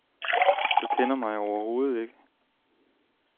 Du kender mig overhovedet ikke.